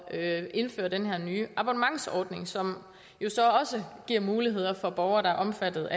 at indføre den her nye abonnementsordning som jo så også giver muligheder for borgere der er omfattet